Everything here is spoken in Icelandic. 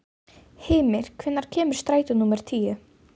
Hymir, hvenær kemur strætó númer tíu?